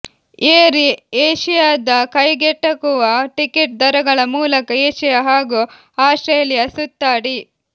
air ಏಶಿಯಾದ ಕೈಗೆಟಕುವ ticket ದರಗಳ ಮೂಲಕ ಏಶಿಯಾ ಹಾಗೂ ಆಸ್ಟ್ರೇಲಿಯಾ ಸುತ್ತಾಡಿ